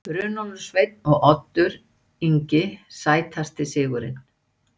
Runólfur Sveinn og Oddur Ingi Sætasti sigurinn?